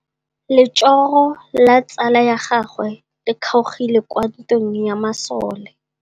Letsôgô la tsala ya gagwe le kgaogile kwa ntweng ya masole.